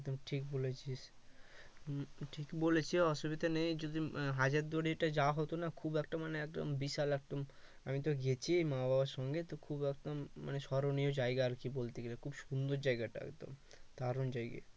একদম ঠিক বলেছিস উম বলেছে অসুবিধা নেই যদি হাজার এ যাওয়া হতো না খুব একটা মানে ভিসা লাগতো না আমিতো গেছি মা বাবার সঙ্গে খুব রকম স্মরণীয় জায়গা আর কি বলতে গেলে খুব সুন্দর জায়গাটা দারুন জায়গা